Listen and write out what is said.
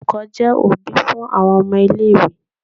Olùkọ́ jẹ́ òbí fún àwọn ọmọ-ilé-ìwé.